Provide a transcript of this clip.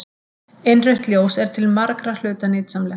Innrautt ljós er til margra hluta nytsamlegt.